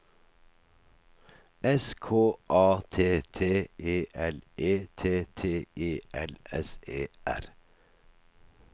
S K A T T E L E T T E L S E R